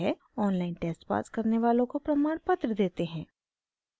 online test pass करने वालों को प्रमाणपत्र देते हैं